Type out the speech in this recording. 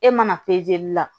E mana la